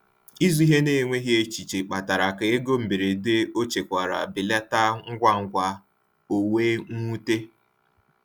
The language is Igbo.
Ịzụ ihe n’enweghị echiche kpatara ka ego mberede ọ chekwara belata ngwa ngwa, o wee nwute.